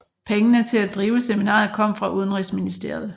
Pengene til at drive seminaret kom fra udenrigsministeriet